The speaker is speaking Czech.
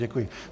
Děkuji.